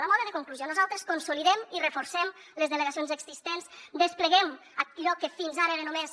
a tall de conclusió nosaltres consolidem i reforcem les delegacions existents despleguem allò que fins ara era només